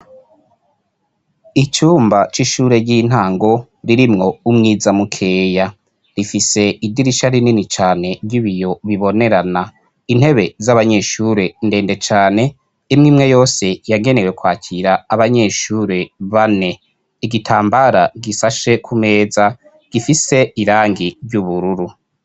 Inzu yubakishijwe amatafari aturiye ku ruhome hamanitsweko urupapuro rw'umuhondo akabati keza cane gakozwe mu mbaho intebe z'abanyeshure ntende imwe imwe yose yagenewe gukoreshwa n'abanyeshure babiri canke batatu.